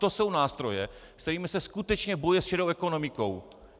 To jsou nástroje, se kterými se skutečně bojuje s šedou ekonomikou.